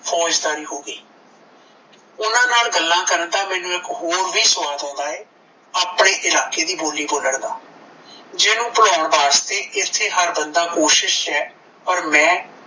ਫੌਜਦਾਰੀ ਹੋ ਗਈ ਓਹਨਾਂ ਨਾਲ ਗੱਲਾਂ ਕਰਨ ਦਾ ਮੈਨੂੰ ਇੱਕ ਹੋਰ ਵੀ ਸਵਾਦ ਆਉਂਦਾ ਏ ਆਪਣੇ ਇਲਾਕੇ ਦੀ ਬੋਲੀ ਬੋਲਣ ਦਾ ਜਿਨੂੰ ਭੁਲਾਉਣ ਵਾਸਤੇ ਐਥੇ ਹਰ ਬੰਦਾ ਕੋਸ਼ਿਸ਼ ਚ ਐ ਪਰ ਮੈਂ